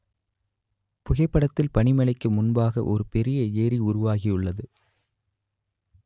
புகைப்படத்தில் பனிமலைக்கு முன்பாக ஒரு பெரிய ஏரி உருவாகியுள்ளது